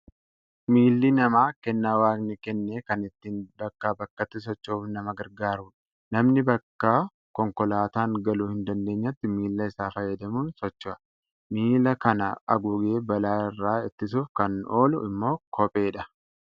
Miilli namaa kennaa waaqni kenne kan ittiin bakkaa bakkatti socho'uuf nama gargaarudha. Namni bakka konkolaataan galuu hin dandeenyetti miilla isaa fayyadamuun socho'a. Miilla kana haguugee balaa irraa ittisuuf kan oolu immoo kopheedha.